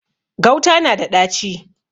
Gauta na da ɗaci.